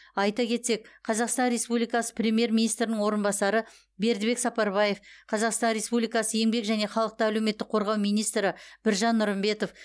айта кетсек қазақстан республикасы премьер министрінің орынбасары бердібек сапарбаев қазақстан республикасы еңбек және халықты әлеуметтік қорғау министрі біржан нұрымбетов